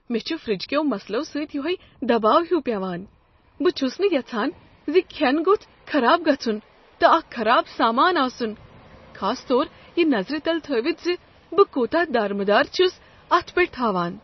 مےٚ چھ فرٛجہ کیو مسلو سۭتۍ یہوے دباو ہیُو پیوان۔ بہٕ چھس نہٕ یژھان ز کھیٚنہٕ گوٚژھ خراب گژھن تہٕ اکھ خراب سامان آسن، خاص طور یہ نظر تل تھٲوتھ ز بہٕ کوتاہ دارمدار چھس اتھ پیٹھ تھاوان۔